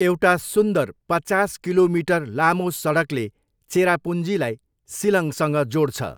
एउटा सुन्दर पचास किलोमिटर लामो सडकले चेरापुन्जीलाई सिलङसँग जोड्छ।